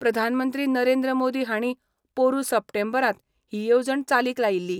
प्रधानमंत्री नरेंद्र मोदी हाणी पोरु सप्टेंबरांत हि येवणज चालीक लायील्ली.